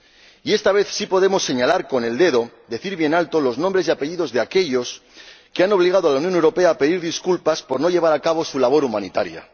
Y esta vez sí podemos señalar con el dedo, decir bien alto los nombres y apellidos de aquellos que han obligado a la Unión Europea a pedir disculpas por no llevar a cabo su labor humanitaria.